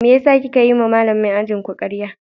Mene ya saka kika yiwa Malamin ajinmu karya?